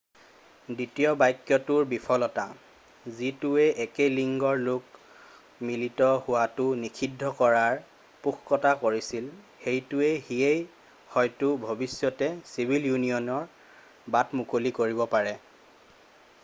দ্বিতীয় বাক্যটোৰ বিফলতা যিটোৱে একে লিংগৰ লোক মিলিত হোৱাটো নিষিদ্ধ কৰাৰ পোষকতা কৰিছিল সেইটো সিয়েই হয়তো ভৱিষ্যতে চিভিল ইউনিয়নৰ বাট মুকলি কৰিব পাৰে